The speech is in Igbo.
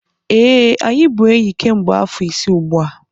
ee, anyị bụ enyi kemgbe afọ ise ugbu a